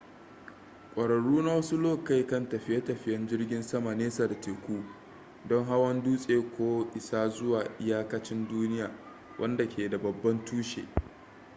kwararru na wasu lokai kan tafiye-tafiyen jirgin sama nesa da teku don hawan dutse ko isa zuwa iyakanci duniya wanda ke da babban tushe